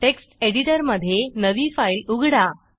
text एडिटरमधे नवी file उघडा